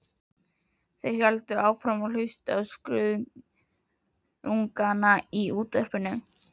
Og héldu svo áfram að hlusta á skruðningana í Útvarpinu.